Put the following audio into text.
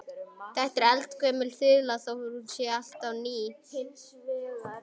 Þetta er eldgömul þula þó er hún alltaf ný.